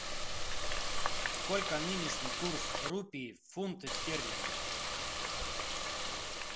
сколько нынешний курс рупий в фунты стерлинги